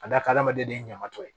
Ka d'a kan adamaden ɲama tɔ ye